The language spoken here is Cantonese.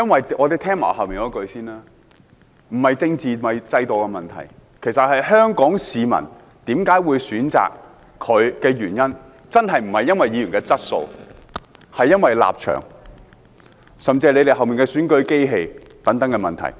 這不是政治，也不是制度的問題，其實，香港市民為何會選擇許智峯，真的不是因為議員的質素，而是因為立場，甚至是他們背後的選舉機器等問題。